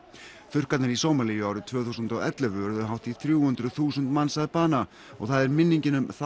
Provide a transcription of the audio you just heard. þurrkarnir í Sómalíu árið tvö þúsund og ellefu urðu hátt í þrjú hundruð þúsund manns að bana og það er minningin um